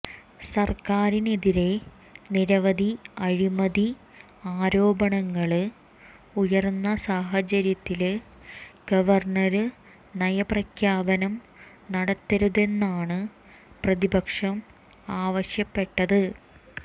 സര്ക്കാരിനെതിരെ നിരവധി അഴിമതി ആരോപണങ്ങള് ഉയര്ന്ന സാഹചര്യത്തില് ഗവര്ണര് നയപ്രഖ്യാപനം നടത്തരുതെന്നാണ് പ്രതിപക്ഷം ആവശ്യപ്പെട്ടത്